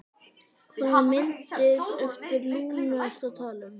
Hvaða myndir eftir Lúnu ertu að tala um?